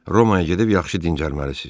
Romaya gedib yaxşı dincəlməlisiz.